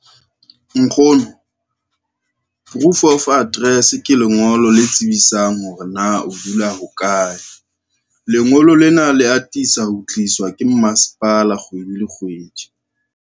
Nkgono, proof of address ke lengolo le tsebisang hore na o dula hokae. Lengolo lena le atisa ho tliswa ke masepala kgwedi le kgwedi.